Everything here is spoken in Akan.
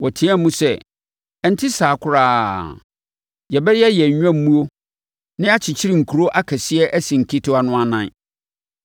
Wɔteaam sɛ, “Ɛnte saa koraa! Yɛbɛyɛ yɛn nnwammuo na yɛakyekyere nkuro akɛseɛ asi nketewa no anan